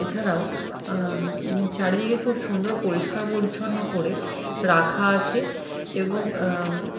এছাড়াও আ উম চারিদিকে খুব সুন্দর পরিষ্কার পরিচ্ছন্ন করে রাখা আছে এবং আ উম--